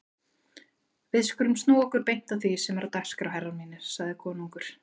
Við skulum snúa okkur beint að því sem er á dagskrá herrar mínir, sagði konungur.